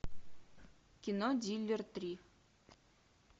кино дилер три